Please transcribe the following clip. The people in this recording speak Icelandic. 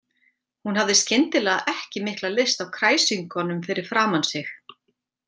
Hún hafði skyndilega ekki mikla lyst á kræsingunum fyrir framan sig.